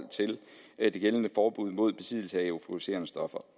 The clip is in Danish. det gældende forbud mod besiddelse af euforiserende stoffer